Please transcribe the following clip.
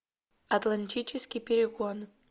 атлантический перегон